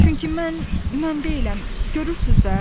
Çünki mən mən deyiləm, görürsüz də?